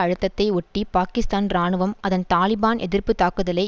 அழுத்தத்தை ஒட்டி பாக்கிஸ்தான் இராணுவம் அதன் தாலிபான் எதிர்ப்பு தாக்குதலை